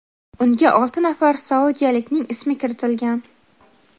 unga olti nafar saudiyalikning ismi kiritilgan.